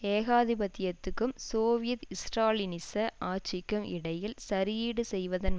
ஏகாதிபத்தியத்துக்கும் Soviet ஸ்ராலினிச ஆட்சிக்கும் இடையில் சரியீடு செய்வதன்